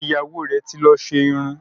Ìyàwó rẹ́ ti lọ ṣe irun.